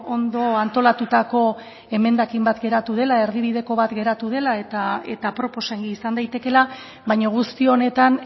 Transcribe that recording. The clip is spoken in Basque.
ondo antolatutako emendakin bat geratu dela erdibideko bat geratu dela eta aproposa izan daitekeela baina guzti honetan